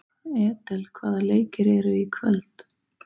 Edel, hvaða leikir eru í kvöld?